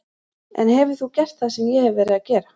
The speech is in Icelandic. En hefur þú gert það sem ég hef verið að gera?